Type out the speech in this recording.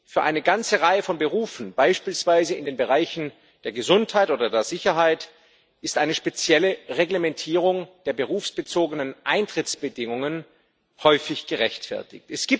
Für eine ganze Reihe von Berufen, beispielsweise in den Bereichen Gesundheit oder Sicherheit, ist eine spezielle Reglementierung der berufsbezogenen Eintrittsbedingungen häufig gerechtfertigt.